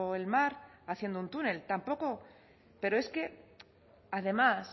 el mar haciendo un túnel tampoco pero es que además